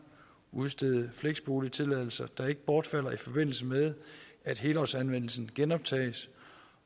udstede fleksboligtilladelser der ikke bortfalder i forbindelse med at helårsanvendelsen genoptages